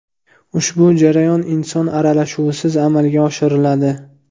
Ushbu jarayon inson aralashuvisiz amalga oshiriladi.